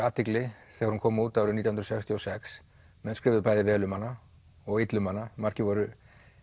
athygli þegar hún kom út árið nítján hundruð sextíu og sex menn skrifuðu bæði vel um hana og illa um hana margir voru